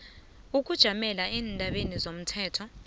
ukujamela eendabeni zomthetho